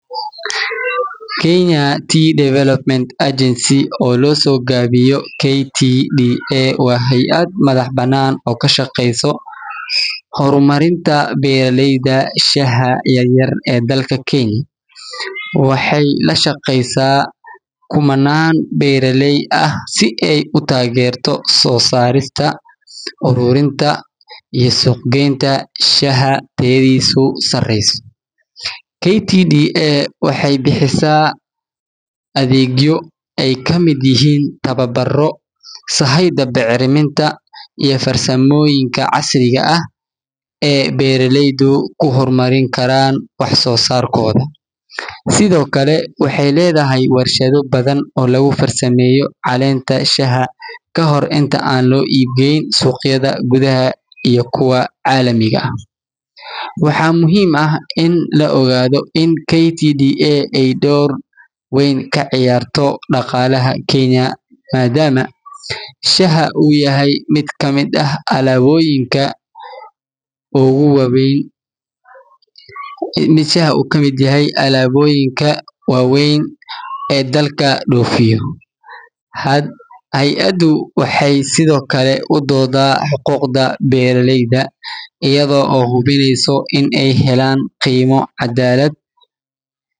Kenya tea development agency oo loso gawiyo KTDA waa hey ah madhax banan oo ka shaqeysa hormarinta beera leyda shaxa yar yar ee dalka kenya, waxee la shaqeysaa kumanan beeraley ah si ee u tagerto sosarinta ururinta iyo suuq geenta shaxa tayadisu sareyso, KTDA waxee bixisaa athegyo ee ka miid yihin ama tawa baro sahayda bicriminta iyo farsamooyinka casriga eh, ee beera leydu ku hormarin karan waxso sarkoda, sithokale waxee ledhahay warshaadho badan oo lagu farsameyo calenta shaxa kahor inta aa lo ibgeyn suqayaada gudhaha iyo kuwa calamiga ah waxaa muhiim ah in la ogadho in KTDA ee dor weyn ka ciyarto daqalaha kenya madama shaha u yahay miid kamiid ah alaboyinka ogu wawen ee dalka dofiyo, hey adu waxee sithokale udoda xuquqda beera leyda iyaga oo hubineyso in ee helan qimo cadalaad.